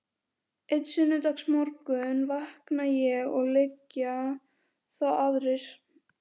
Einn sunnudagsmorgun vakna ég og liggja þá aðrir